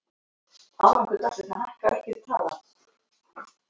Því hlyti að vera til sá möguleiki að hún gæti hægt á sér.